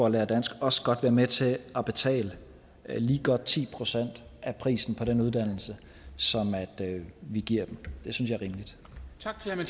lære dansk også godt være med til at betale lige godt ti procent af prisen på den uddannelse som vi giver dem det synes